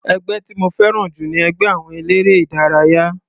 Ẹgbẹ́ tí mo fẹ́ràn jù ni ẹgbẹ́ àwọn eléré ìdárayá.